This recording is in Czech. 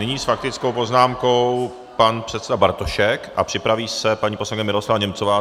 Nyní s faktickou poznámkou pan předseda Bartošek a připraví se paní poslankyně Miroslava Němcová.